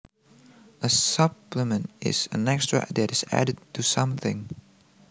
A supplement is an extra that is added to something